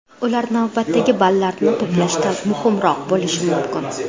Ular navbatdagi ballarni to‘plashda muhimroq bo‘lishi mumkin.